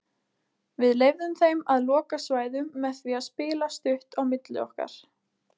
Við leyfðum þeim að loka svæðum með því að spila stutt á milli okkar.